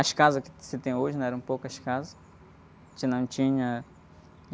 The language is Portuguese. As casas que se tem hoje, né? Eram poucas casas, não tinha...